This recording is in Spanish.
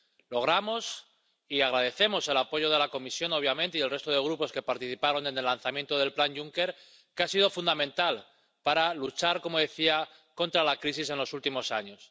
Logramos —y agradecemos— el apoyo de la Comisión, obviamente, y el resto de grupos que participaron en el lanzamiento del Plan Juncker, que ha sido fundamental para luchar, como decía, contra la crisis en los últimos años.